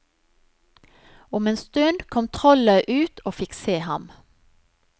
Om en stund kom trollet ut og fikk se ham.